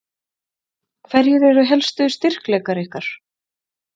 Hverjir eru helstu styrkleikar ykkar?